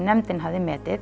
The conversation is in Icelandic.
nefndarinnar